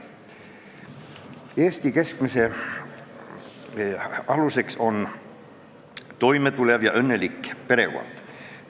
Eesti kestmise aluseks on toime tulev ja õnnelik perekond.